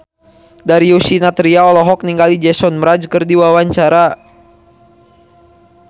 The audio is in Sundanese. Darius Sinathrya olohok ningali Jason Mraz keur diwawancara